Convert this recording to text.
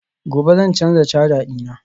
gobe zan canza caja dina